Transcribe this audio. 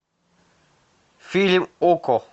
фильм окко